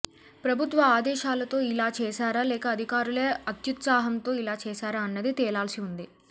ప్రభుత్వ ఆదేశాలతో ఇలా చేశారా లేక అధికారులే అత్యుత్సాహంతో ఇలా చేశారా అన్నది తేలాల్సి ఉంది